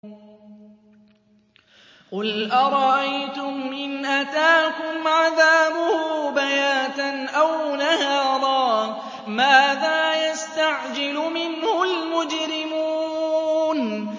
قُلْ أَرَأَيْتُمْ إِنْ أَتَاكُمْ عَذَابُهُ بَيَاتًا أَوْ نَهَارًا مَّاذَا يَسْتَعْجِلُ مِنْهُ الْمُجْرِمُونَ